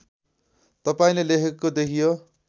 तपाईँले लेखेको देखियो